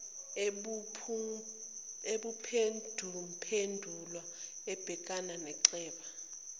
emuphenduphendula embheka inxeba